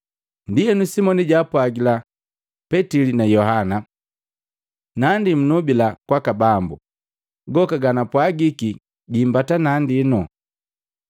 Ndienu Simoni jaapwagila Petili na Yohana, “Nandi munobila kwaka Bambu, goka gampwagiki giimbata nandino.”